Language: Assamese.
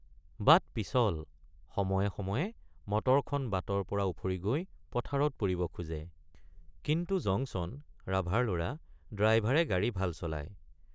বাট পিছল সময়ে সময়ে মটৰখন বাটৰপৰা উফৰি গৈ পথাৰত পৰিব খোজে কিন্তু জংছন ৰাভাৰ লৰ৷ ড্ৰাইভাৰে গাড়ী ভাল চলায়।